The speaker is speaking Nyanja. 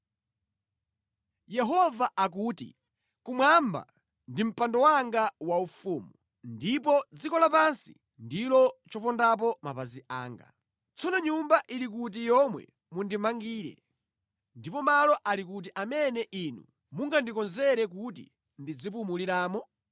Yehova akuti, “Kumwamba ndi mpando wanga waufumu ndipo dziko lapansi ndilo chopondapo mapazi anga. Tsono nyumba ili kuti yomwe mundimangire, ndipo malo ali kuti amene inu mungandikonzere kuti ndizipumuliramo?